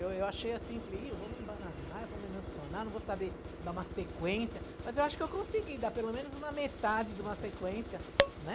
Eu eu achei assim, falei, e... eu vou me embananar, eu vou me emocionar, não vou saber dar uma sequência, mas eu acho que eu consegui dar pelo menos uma metade de uma sequência, né?